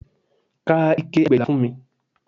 Ka ike ẹgbẹ̀éjìlá fún mi